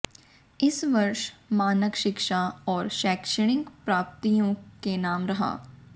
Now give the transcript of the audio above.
इस वर्ष मानक शिक्षा और शैक्षणिक प्राप्तियों के नाम रहा